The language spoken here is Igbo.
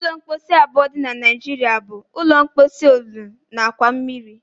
Ụdị ụlọ mposi abụọ dị na Naijiria bụ: ụlọ mposi olulu na akwa mmiri.